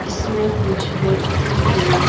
इसमें कुछ व्यक्ति भी--